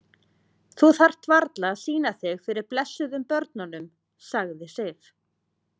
Þú þarft varla að sýna þig fyrir blessuðum börnunum, sagði Sif.